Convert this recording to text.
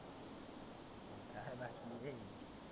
काय बाकी आहे?